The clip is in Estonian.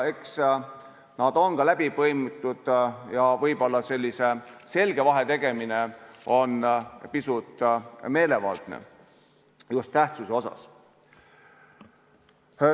Eks nad ole ka läbi põimitud ja võib-olla sellise selge vahe tegemine on pisut meelevaldne, just tähtsuse mõttes.